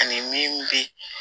Ani min bɛ